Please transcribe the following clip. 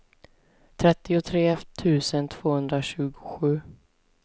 trettiotre tusen tvåhundratjugosju